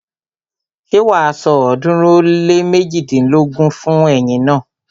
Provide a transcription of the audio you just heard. Ṣé wàá san ọ̀ọ́dúnrún ó lé méjidínlógún fún ẹyin naa?